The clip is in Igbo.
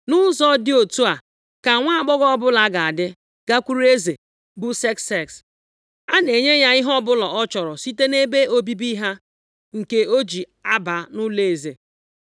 Nʼụzọ dị otu a, ka nwaagbọghọ ọbụla ga-adị gakwuru eze, bụ Sekses. A na-enye ya ihe ọbụla ọ chọrọ site nʼebe obibi ha nke o ji aba nʼụlọeze.